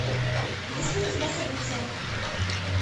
есть ли у тебя событие